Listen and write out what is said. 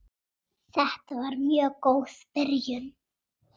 Þetta var mjög góð byrjun.